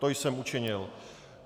To jsem učinil.